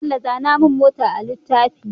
Bello zana mun mota a litafina